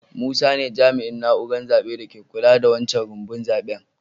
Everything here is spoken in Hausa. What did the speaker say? Musa ne jami'in naúrar zabe da ke kulla da wancan rumbun zaben.